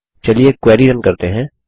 चलिए query run करते हैं